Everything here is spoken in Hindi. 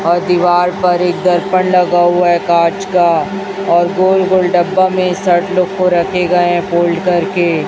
और दीवाल पर एक दर्पण लगा हुआ है कांच का और गोल गोल डब्बा में शर्ट लोग को रखे गए हैं फोल्ड करके --